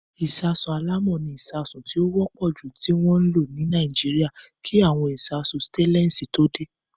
Ìṣasùn alámọ̀ ni ìṣasùn tí ó wọ́pọ̀ jù tí wọ́n ń lò ní Nàíjíríà kí àwọn ìṣasùn sítéélẹ́ǹsì tó dé.